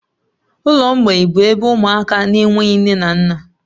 Ụlọ mgbei bụ ebe ụmụaka na-enweghị nne na nna